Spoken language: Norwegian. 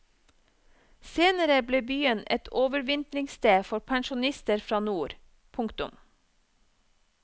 Senere ble byen et overvintringssted for pensjonister fra nord. punktum